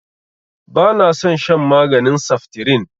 Ba na son shan maganin saftirin